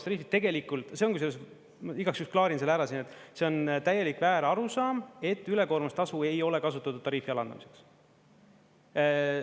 Tegelikult see on kusjuures, ma igaks juhuks klaarin selle ära siin, et see on täielik väärarusaam, et ülekoormustasu ei ole kasutatud tariifi alandamiseks.